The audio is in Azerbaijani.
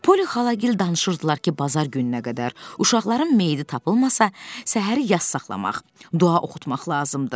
Polli xalagil danışırdılar ki, bazar gününə qədər uşaqların meyti tapılmasa, səhər yas saxlamaq, dua oxutmaq lazımdır.